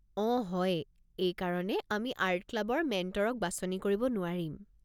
অঁ হয়, এইকাৰণে আমি আৰ্ট ক্লাবৰ মেণ্টৰক বাছনি কৰিব নোৱাৰিম।